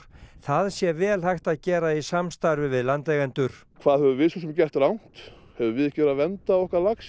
það sé vel hægt að gera í samstarfi við landeigendur hvað höfum við svo sem gert rangt höfum við ekki verið að vernda okkar lax